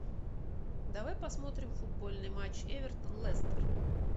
давай посмотрим футбольный матч эвертон лестер